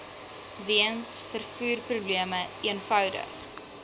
weens vervoerprobleme eenvoudig